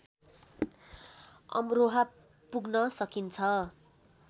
अमरोहा पुग्न सकिन्छ